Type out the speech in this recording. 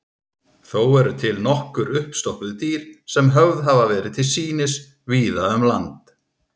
Þó eru til nokkur uppstoppuð dýr sem höfð hafa verið til sýnis víða um land.